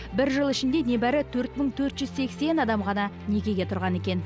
бір жыл ішінде небәрі төрт мың төрт жүз сексен адам ғана некеге тұрған екен